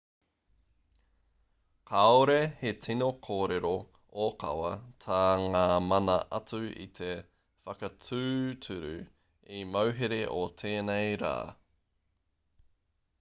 kāore he tino kōrero ōkawa tā ngā mana atu i te whakatūturu i te mauhere o tēnei rā